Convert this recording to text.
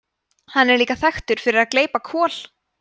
hann er líka þekktur fyrir að gleypa kol